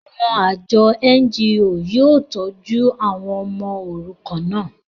àwọn àjọ NGO yóò tọ́jú àwọn ọmọ òrukàn náà